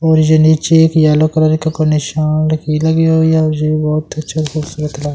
और ये नीचे एक येलो कलर का निशान लगी हुई हैऔर ये बहुत अच्छा खूबसूरत--